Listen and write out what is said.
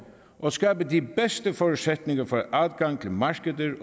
og skabe de bedste forudsætninger for adgang til markeder